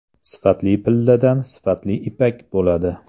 Sifatli pilladan sifatli ipak bo‘ladi.